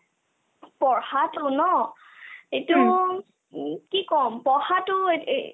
পঢ়াতোনো এইইতো কি ক'ম পঢ়াতো এই এ